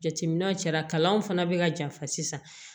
Jateminɛw cɛla kalanw fana bɛ ka janfa sisan